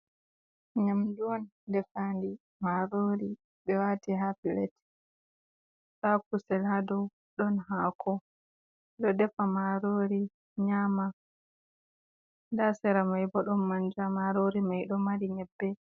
Nyaamdu on defaandi, maroori ɓe waati ha "filet". Ndaa kusel hadow ɗon haako. Ɗo defa maroori nyaama ndaa sera may bo ɗon manja, maroori may ɗo mari nyebbe.